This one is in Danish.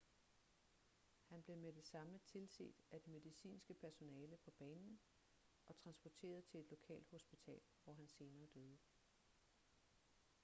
han blev med det samme tilset af det medicinske personale på banen og transporteret til et lokalt hospital hvor han senere døde